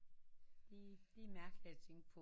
De det er mærkeligt at tænke på